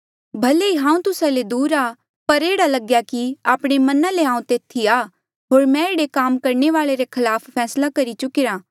भले ही हांऊँ तुस्सा ले दूर आ पर एह्ड़ा लगेया कि आपणे मना ले हांऊँ तेथी आ होर मैं एह्ड़े काम करणे वाले रे खलाफ फैसला करी चुकिरा